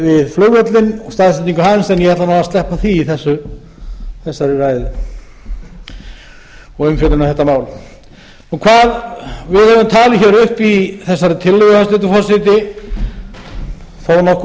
við flugvöllinn staðsetningu hans en ég ætla nú að sleppa því í þessari ræðu og umfjöllun um þetta mál við höfum talið hér upp í þessari tillögu hæstvirtur forseti